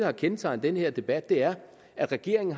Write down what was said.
har kendetegnet den her debat er at regeringen